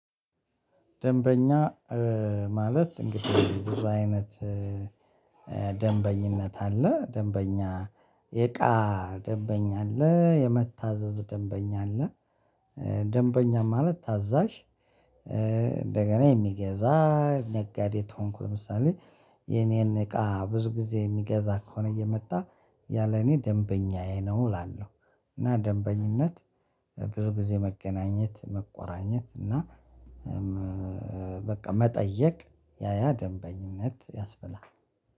ደንበኛ ማለት እንግዲህ ብዙ አይነት ደንበኝነት አለ ደንበኛ የእቃ ደንበኛ አለ የመታዘዝ ደንበኛ አለ። ደንበኛ ማለት ታዛዥ እንደገና የሚገዛ ነጋዴ ተሆንኩ። ለምሳሌ የኔን እቃ ብዙ ጊዜ የሚገዛ ከሆነ እየመጣ ያ ለእኔ ደንበኛዬ ነው እላለሁ። እና ደንበኝነት ብዙ ጊዜ መገናኘት መቆራኘት እና በቃ መጠየቅ ያያ ደንበኝነት ያስበላል።